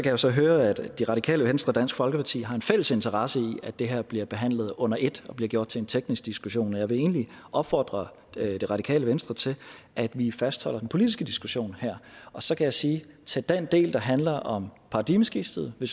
jo så høre at radikale venstre og dansk folkeparti har en fælles interesse i at det her bliver behandlet under ét og bliver gjort til en teknisk diskussion jeg vil egentlig opfordre radikale venstre til at vi fastholder den politiske diskussion her så kan jeg sige at til den del der handler om paradigmeskiftet vil